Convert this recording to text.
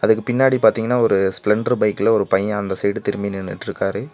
இதுக்கு பின்னாடி பாத்தீங்னா ஒரு ஸ்ப்ளெண்டர் பைக்ல ஒரு பைய அந்த சைடு திரும்பி நின்னுட்ருக்காரு.